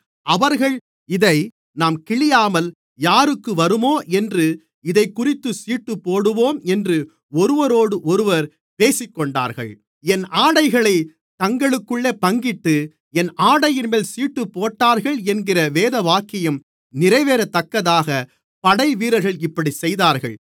அவர்கள் இதை நாம் கிழியாமல் யாருக்கு வருமோ என்று இதைக்குறித்துச் சீட்டுப்போடுவோம் என்று ஒருவரோடொருவர் பேசிக்கொண்டார்கள் என் ஆடைகளைத் தங்களுக்குள்ளே பங்கிட்டு என் ஆடையின்மேல் சீட்டுப்போட்டார்கள் என்கிற வேதவாக்கியம் நிறைவேறத்தக்கதாகப் படைவீரர்கள் இப்படிச்செய்தார்கள்